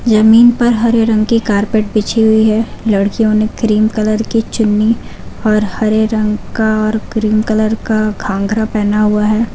जमीन पर हरे रंग की कारपेट बिछी हुई है लड़कियों ने क्रीम कलर की चुन्नी और हरे रंग का और क्रीम कलर का घाघरा पहना हुआ है।